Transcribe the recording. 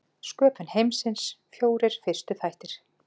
Sköpun heimsins, fjórir fyrstu þættir